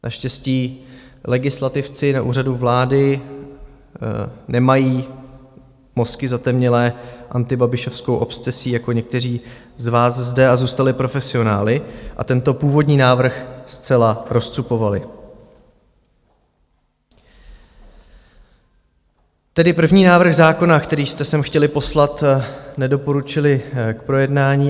Naštěstí legislativci na Úřadu vlády nemají mozky zatemnělé antibabišovskou obsesí jako někteří z vás zde a zůstali profesionály a tento původní návrh zcela rozcupovali, tedy první návrh zákona, který jste sem chtěli poslat, nedoporučili k projednání.